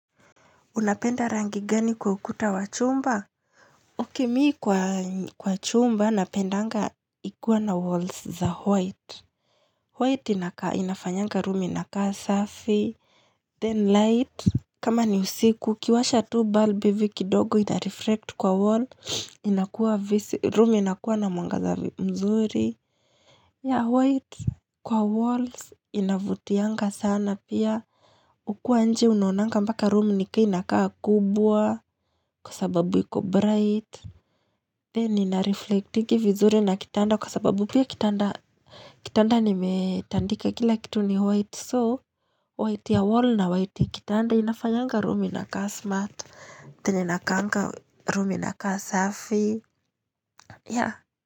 Unapenda rangi gani kwa ukuta wa chumba? Okay, mi kwa chumba napendanga ikiwa na walls za white. White inafanyanga room inakaa 'surfy'. 'Then light'. Kama ni usiku, ukiwasha tuu balbu hivi kidogo ina reflect kwa wall. Room inakuwa na mwangaza mzuri Yeah, white kwa walls inavutianga sana pia. Ukiwa nje unonanga mpaka room nika inakaa kubwa. Kwa sababu iko bright then nina reflectingi vizuri na kitanda kwa sababu pia kitanda, kitanda nimetandika kila kitu ni white so white ya wall na white kitanda inafanyanga room inakaa smart. Venye inakaanga room inakaa safi yeah.